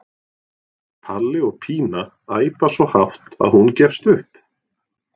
Palli og Pína æpa svo hátt að hún gefst upp.